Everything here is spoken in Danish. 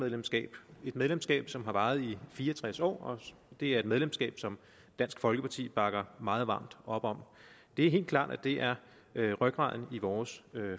medlemskab et medlemskab som har varet i fire og tres år det er et medlemskab som dansk folkeparti bakker meget varmt op om det er helt klart at det er rygraden i vores